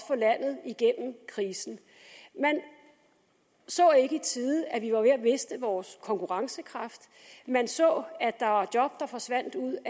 få landet igennem krisen man så ikke i tide at vi var ved at miste vores konkurrencekraft man så at der var job der forsvandt ud